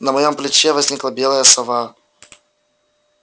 на моём плече возникла белая сова